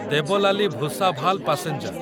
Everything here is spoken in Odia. ଦେବଲାଲି ଭୁସାଭାଲ ପାସେଞ୍ଜର